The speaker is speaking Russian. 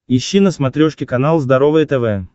ищи на смотрешке канал здоровое тв